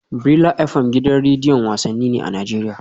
Brila FM gidan rediyon wasanni ne a Najeriya